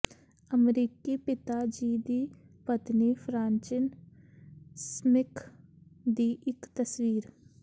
ਅਮਰੀਕੀ ਪਿਤਾ ਜੀ ਦੀ ਪਤਨੀ ਫ੍ਰਾਂਚਿਨ ਸਮਿਥ ਦੀ ਇੱਕ ਤਸਵੀਰ